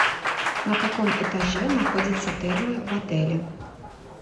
на каком этаже находятся термы в отеле